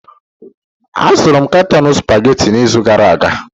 Azụrụ m katọn Supagetii n'izu gara aga